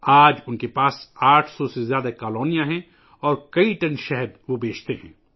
آج ان کے پاس 800 سے زیادہ کالونیاں ہیں اور وہ کئی ٹن شہد فروخت کرتے ہیں